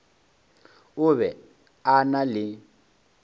o be a na le